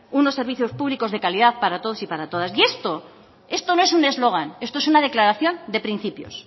unos servicios públicos de calidad para todos y para todas y esto no es un eslogan esto es una declaración de principios